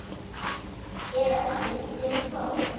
Ef ekki hvað gerist þá?